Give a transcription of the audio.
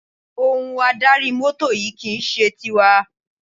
Ohun adarí mọ́tò yìí kì í ṣe tiwa.